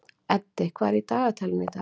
Eddi, hvað er í dagatalinu í dag?